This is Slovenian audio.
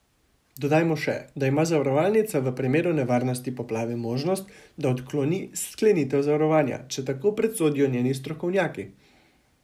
Dodajmo še, da ima zavarovalnica v primeru nevarnosti poplave možnost, da odkloni sklenitev zavarovanja, če tako presodijo njeni strokovnjaki.